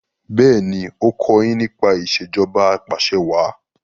béèni o kò yín nípa Ìṣèjọba Apàṣẹwàá